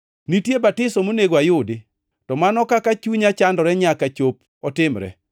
Nitie batiso monego ayudi. To mano kaka chunya chandore nyaka chop otimre!